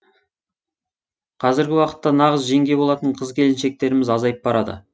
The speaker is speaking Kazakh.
қазіргі уақытта нағыз жеңге болатын қыз келіншектеріміз азайып барады